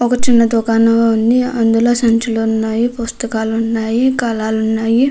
ఒక చిన్న దుకాణం ఉంది అందులో సంచులు ఉన్నాయ్ పుస్తకాలు ఉన్నాయి కలాలు ఉన్నాయి.